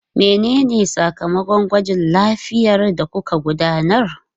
Menene sakamakon gwajin lafiyar da kuka gudanar?